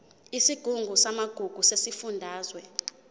isigungu samagugu sesifundazwe